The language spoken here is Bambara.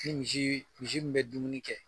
Ke misi, misi dun bɛ dumuni kɛ